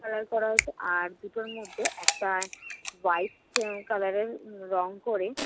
ভাড়া করা হয়েছে। আর দুটোর মধ্যে একটা color এর রং করে